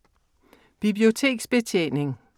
Biblioteksbetjening